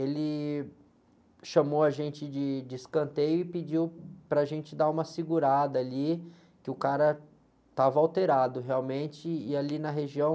Ele chamou a gente de escanteio e pediu para a gente dar uma segurada ali, que o cara estava alterado realmente e ali na região...